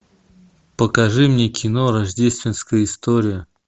покажи мне кино рождественская история